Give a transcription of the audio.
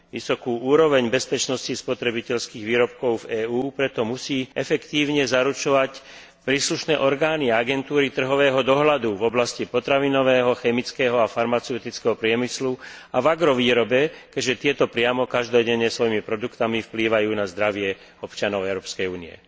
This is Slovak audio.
Vysokú úroveň bezpečnosti spotrebiteľských výrobkov v EÚ musia preto efektívne zaručovať príslušné orgány a agentúry trhového dohľadu v oblasti potravinového, chemického a farmaceutického priemyslu a v agrovýrobe, keďže tieto priamo každodenne svojimi produktmi vplývajú na zdravie občanov Európskej únie.